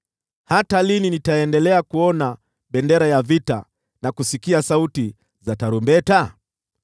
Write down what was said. Hata lini nitaendelea kuona bendera ya vita na kusikia sauti za tarumbeta?